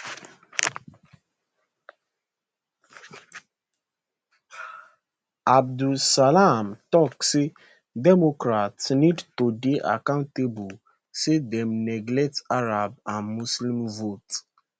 abdel salam tok say democrats need to dey accountable say dem neglect arab and muslim votes